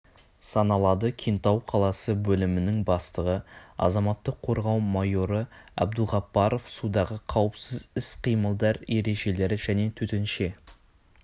саналады кентау қаласы бөлімінің бастығы азаматтық қорғау майоры абдуғаппаров судағы қауіпсіз іс-қимылдар ережелері және төтенше